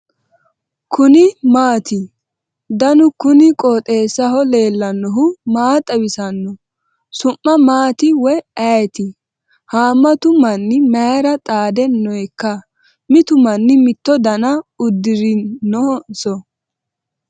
kuni maati ? danu kuni qooxeessaho leellannohu maa xawisanno su'mu maati woy ayeti ? haammatu manni mayra xaade nooikka mitu manni mitto dana uddirrinonso ?